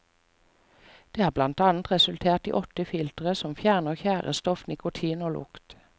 Det har blant annet resultert i åtte filtre som fjerner tjærestoff, nikotin og lukt.